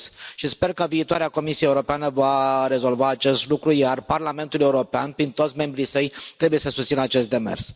Și sper că viitoarea Comisie Europeană va rezolva acest lucru, iar Parlamentul European, prin toți membrii săi, trebuie să susțină acest demers.